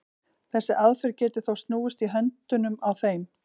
þessi aðferð getur þó snúist í höndunum á þeim